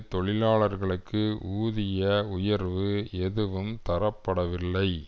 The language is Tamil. தொழிலாளர்களுக்கு ஊதிய உயர்வு எதுவும் தரப்படவில்லை